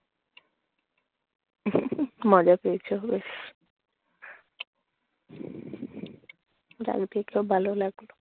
মজা পেয়েছো, হুস গাল দেখলো ভালো লাগল।